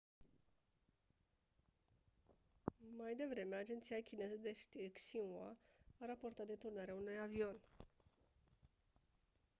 mai devreme agenția chineză de știri xinhua a raportat deturnarea unui avion